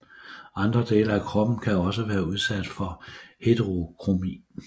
Andre dele af kroppen kan også være udsat for heterokromi